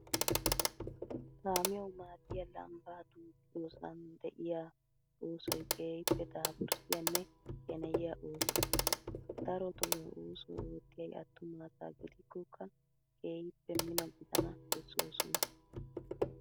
Kaamiyawu maaddiyaa lambbaa duuqqiyoosan de'iyaa osoyi keehippe daapurssiyaanne sheneyiyaa ooso. Darotoo ha oosuwaa oottiyayi attuma asaa gidikkokkaa keehippe mino gidana bessoosonaa.